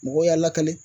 Mɔgɔw y'a lakale